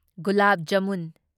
ꯒꯨꯂꯥꯕ jamun